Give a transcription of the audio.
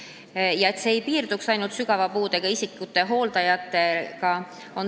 Me ei soovi, et see ring piirdub ainult sügava puudega isikute hooldajatega.